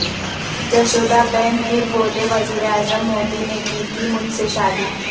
جشودا بین پھر بولیں وزیراعظم مودی نے کی تھی مجھ سےشادی